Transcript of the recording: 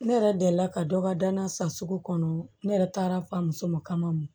Ne yɛrɛ delila ka dɔ ka danna san sugu kɔnɔ ne yɛrɛ taara fa muso ma kama